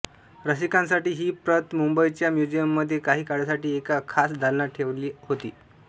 रसिकांसाठी ही प्रत मुंबईच्या म्युझियममध्ये काही काळासाठी एका खास दालनात ठेवली होती